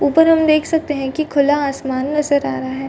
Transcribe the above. ऊपर हम देख सकते हैं कि खुला आसमान नजर आ रहा है।